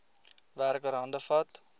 werker hande vat